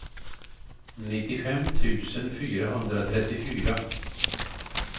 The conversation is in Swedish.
nittiofem tusen fyrahundratrettiofyra